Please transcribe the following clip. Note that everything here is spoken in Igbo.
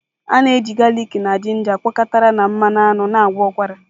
A na-eji galịk na ginger gwakọtara na mmanụ aṅụ na-agwọ ụkwara.